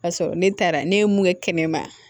Ka sɔrɔ ne taara ne ye mun kɛ kɛnɛma